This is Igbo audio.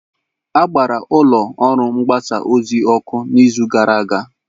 A gbara ụlọ ọrụ mgbasa ozi ọkụ n'izu gara aga.